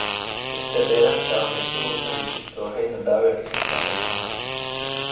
Birtan dheeraadka ah waxay sun u tahay jidhka waxayna dhaawici kartaa xubnaha.